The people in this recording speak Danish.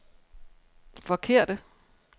forkerte